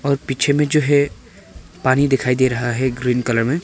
पीछे में जो है पानी दिखाई दे रहा है ग्रीन कलर में।